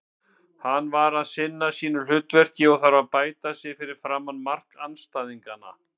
Hann er að sinna sínu hlutverki en þarf að bæta sig fyrir framan mark andstæðinganna.